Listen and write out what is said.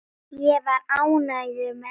Ég var ánægður með það.